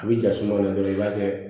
A bi ja suma de dɔrɔn i b'a kɛ